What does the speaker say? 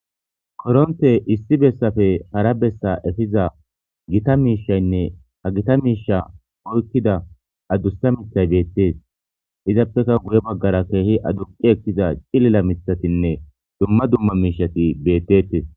Koronththee issi bessappe hara bessaa ehiza gita miishanne ha githa miishshaa oykkida adussa miththay beeththees;izappekka guye baggaara keehi aduqqi ekkiza ilila miththathinne dumma dumma miishshathi beeththees.